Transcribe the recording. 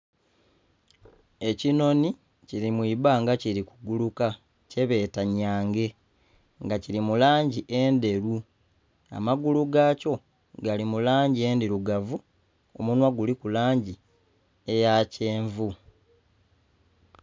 Ekinhoni kiri mwibbanga kiri kuguluka kyebeta nyange nga kiri mulangi endheru, amagulu gakyo gali mulangi endhirugavu, omunhwa guliku langi eyakyenvu.